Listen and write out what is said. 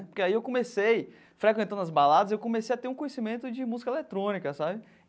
Porque aí eu comecei, frequentando as baladas, eu comecei a ter um conhecimento de música eletrônica, sabe?